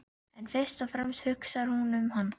En fyrst og fremst hugsar hún um hann.